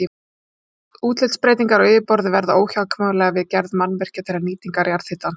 Útlitsbreytingar á yfirborði verða óhjákvæmilega við gerð mannvirkja til nýtingar jarðhitans.